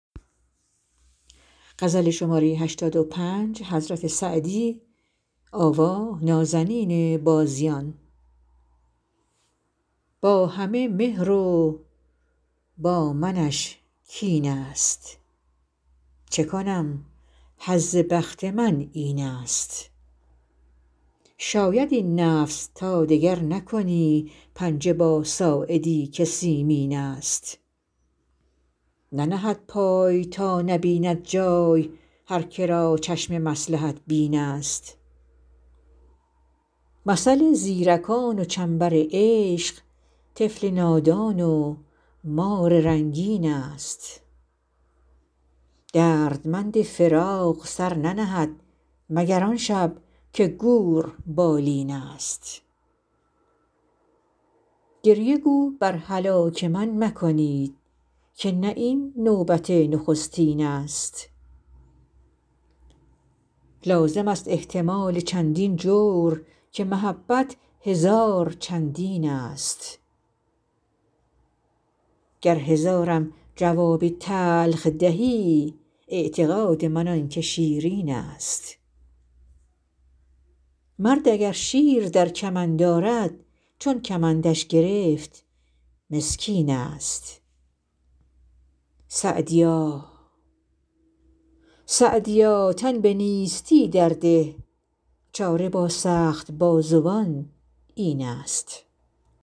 با همه مهر و با منش کین ست چه کنم حظ بخت من این ست شاید ای نفس تا دگر نکنی پنجه با ساعدی که سیمین ست ننهد پای تا نبیند جای هر که را چشم مصلحت بین ست مثل زیرکان و چنبر عشق طفل نادان و مار رنگین ست دردمند فراق سر ننهد مگر آن شب که گور بالین ست گریه گو بر هلاک من مکنید که نه این نوبت نخستین ست لازم است احتمال چندین جور که محبت هزار چندین ست گر هزارم جواب تلخ دهی اعتقاد من آن که شیرین ست مرد اگر شیر در کمند آرد چون کمندش گرفت مسکین ست سعدیا تن به نیستی در ده چاره با سخت بازوان این ست